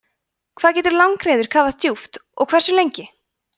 hvað getur langreyður kafað djúpt og hversu lengi